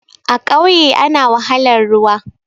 A ƙauye ana wahalar ruwa